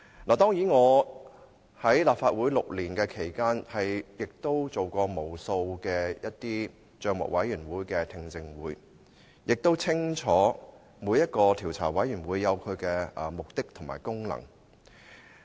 我在立法會的6年期間，參與過無數的政府帳目委員會的聽證會，清楚每個調查委員會也有其目的和功能。